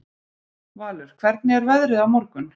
Valur, hvernig er veðrið á morgun?